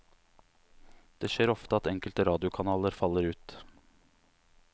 Det skjer ofte at enkelte radiokanaler faller ut.